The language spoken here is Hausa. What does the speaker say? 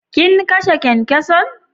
Kin kashe kyankyason?